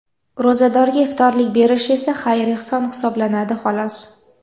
Ro‘zadorga iftorlik berish esa xayr-ehson hisoblanadi, xolos.